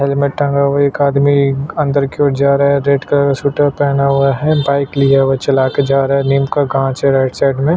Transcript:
helmet टंगा हुआ है एक आदमी अंदर की ओर जा रहा है रेड कलर का स्वेटर पहना हुआ है बाइक लिया हुआ है चला के जा रहा है नीम का काँच है राईट साइड में --